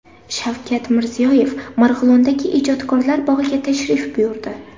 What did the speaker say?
Shavkat Mirziyoyev Marg‘ilondagi Ijodkorlar bog‘iga tashrif buyurdi.